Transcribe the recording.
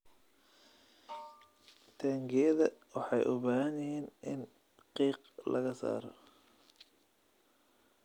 Taangiyada waxay u baahan yihiin in qiiq laga saaro.